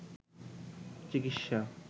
চিকিৎসা